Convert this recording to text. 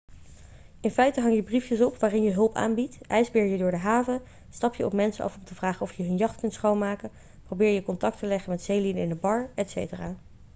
in feite hang je briefjes op waarin je hulp aanbiedt ijsbeer je door de haven stap je op mensen af om te vragen of je hun jacht kunt schoonmaken probeer je contact te leggen met zeelieden in de bar etc